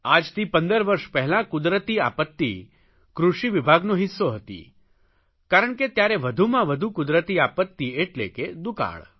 આજથી 15 વર્ષ પહેલાં કુદરતી આપત્તિ કૃષિવિભાગનો હિસ્સો હતી કારણ કે ત્યારે વધુમાં વધુ કુદરતી આપત્તિ એટલે કે દુકાળ